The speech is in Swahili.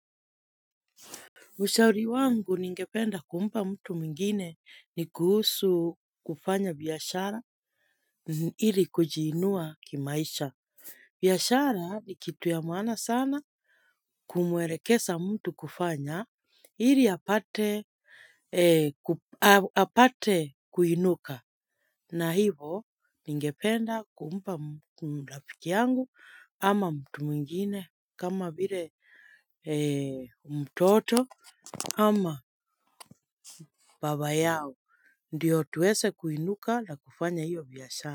Ushauri wangu ningependa kumpa mtu mingine ni kuhusu kufanya biyashara ili kujiinua kimaisha. Biyashara ni kitu ya maana sana kumuerekesa mtu kufanya ili apate kuinuka. Na hivo, ningependa kumpa mlafiki yangu ama mtu mwingine kama bire mtoto ama baba yao. Ndiyo tuweze kuinuka na kufanya hiyo biashara.